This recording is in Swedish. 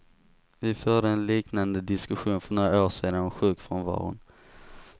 Vi förde en liknande diskussion för några år sedan om sjukfrånvaron.